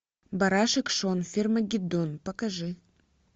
барашек шон фермагеддон покажи